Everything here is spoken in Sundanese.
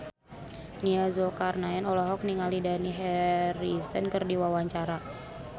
Nia Zulkarnaen olohok ningali Dani Harrison keur diwawancara